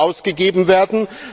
EUR ausgegeben werden.